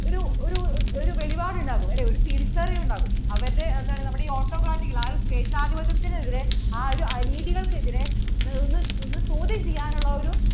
ഒരു ഒരു വെളിപാട് ഉണ്ടാവും അല്ലെ ഒരു തിരിച്ചറിവ് ഉണ്ടാവും അവരുടെ എന്താണ് നമ്മടെ ഈ autocratic എതിരെ സ്വേച്ഛാധിപത്യത്തിനെതിരെ ആ ഒരു അനീതികൾക്ക് എതിരെ ചോദ്യം ചെയ്യാൻ ഉള്ള ഒരു